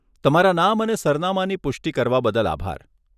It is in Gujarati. તમારા નામ અને સરનામાંની પુષ્ટિ કરવા બદલ આભાર.